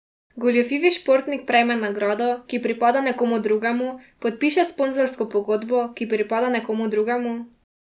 Goljufivi športnik prejme nagrado, ki pripada nekomu drugemu, podpiše sponzorsko pogodbo, ki pripada nekomu drugemu ...